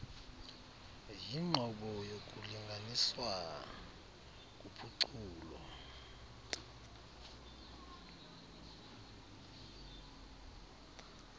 yinqobo yokulinganiswa kuphuculo